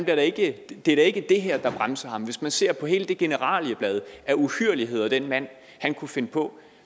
er da ikke det ikke det her der bremser ham hvis man ser på hele det generalieblad af uhyrligheder den mand kunne finde på